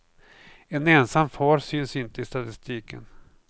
En ensam far syns inte i statistiken.